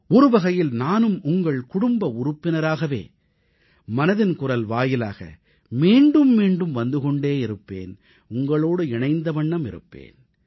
ஒருவகையில் நானும் உங்கள் குடும்ப உறுப்பினராகவே மனதின் குரல் வாயிலாக மீண்டும் மீண்டும் வந்து கொண்டே இருப்பேன் உங்களோடு இணைந்த வண்ணம் இருப்பேன்